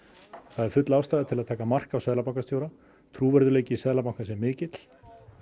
það er full ástæða til að taka mark á seðlabankastjóra trúverðugleiki Seðlabankans er mikill